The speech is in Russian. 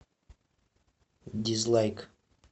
дизлайк